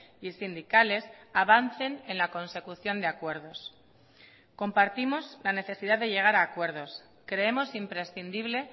y sindicales avancen en la consecución de acuerdos compartimos la necesidad de llegar a acuerdos creemos imprescindible